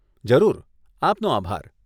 જરૂર, આપનો આભાર.